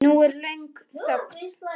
Nú er löng þögn.